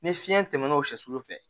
Ni fiɲɛ tɛmɛnn'o sɛ sulu fɛ